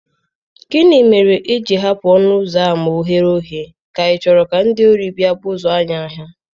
Gịnị mere i ji hapụ ọnụ ụzọ ámá oghere oghe, ka ichoro ka ndị ori bịa buso anyị agha?